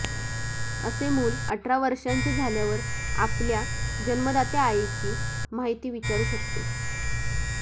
असे मूल अठरा वर्षांचे झाल्यावर आपल्या जन्मदात्या आईची माहिती विचारू शकते